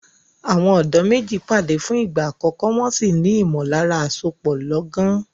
Àwọn ọ̀dọ́ méjì pàdé fún ìgbà àkọ́kọ́, wọn sì ní ìmọ̀lára àsopọ̀ lọ́gán.